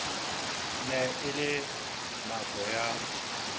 ne e le nako ya